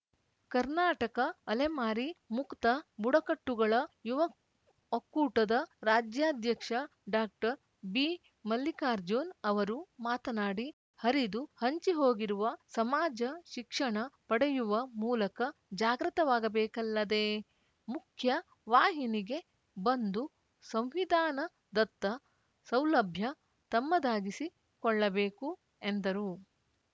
ಕರ್ನಾಟಕ ಅಲೆಮಾರಿ ಮುಕ್ತ ಬುಡಕಟ್ಟುಗಳ ಯುವ ಒಕ್ಕೂಟದ ರಾಜ್ಯಾಧ್ಯಕ್ಷ ಡಾಕ್ಟರ್ ಬಿಮಲ್ಲಿಕಾರ್ಜುನ್‌ ಅವರು ಮಾತನಾಡಿ ಹರಿದು ಹಂಚಿಹೋಗಿರುವ ಸಮಾಜ ಶಿಕ್ಷಣ ಪಡೆಯುವ ಮೂಲಕ ಜಾಗೃತವಾಗಬೇಕಲ್ಲದೇ ಮುಖ್ಯ ವಾಹಿನಿಗೆ ಬಂದು ಸಂವಿಧಾನದತ್ತ ಸೌಲಭ್ಯ ತಮ್ಮದಾಗಿಸಿ ಕೊಳ್ಳಬೇಕು ಎಂದರು